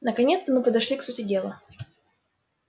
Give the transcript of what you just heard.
наконец-то мы подошли к сути дела